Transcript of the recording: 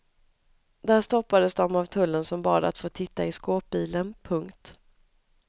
Där stoppades de av tullen som bad att få titta i skåpbilen. punkt